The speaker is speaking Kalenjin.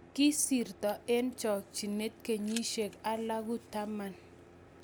Kisirto eng chokchinet kenyishiek alagu taman